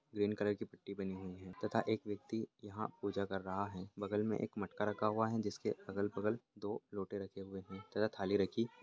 green colour की पट्टी बनी हुई हैं तथा एक व्यक्ति यहाँ पूजा कर रहा हैं बगल में एक मटका रख हुआ हैं जिसके अगल-बगल दो लोटे रखे हुए हैं तथा थाली रखी--